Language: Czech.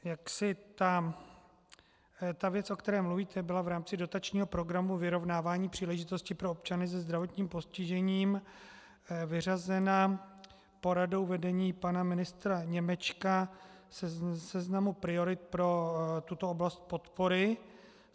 Ta věc, o které mluvíte, byla v rámci dotačního Programu vyrovnávání příležitostí pro občany se zdravotním postižením vyřazena poradou vedení pana ministra Němečka ze seznamu priorit pro tuto oblast podpory.